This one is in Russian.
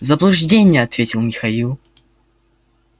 заблуждение ответил михаил